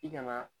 I kana